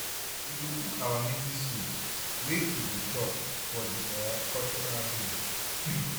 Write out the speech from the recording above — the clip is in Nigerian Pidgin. We go cook our native soup wey pipu go chop for di um cultural day.